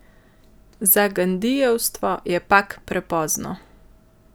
Za gandijevstvo je pak prepozno.